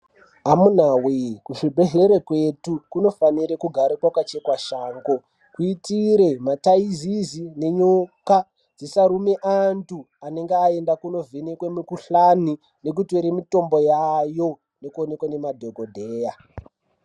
Amunawee kuzvibhedhlere kwetu kunofanire kugare kwakachekwa shango kuitire mataizizi nenyoka dzisarume antu anenge aenda kunovhenekwe mikuhlani nekutore mitombo yayo, nekuonekwe nemadhogodheya.